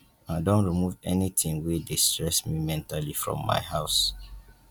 i don remove anything wey dey stress me mentally from my house